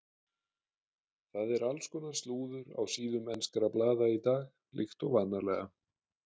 Það er alls konar slúður á síðum enskra blaða í dag líkt og vanalega.